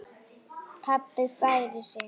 Pabbi færir sig fjær.